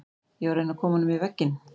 Ég var að reyna að koma honum yfir vegginn.